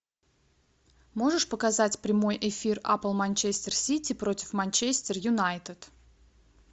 можешь показать прямой эфир апл манчестер сити против манчестер юнайтед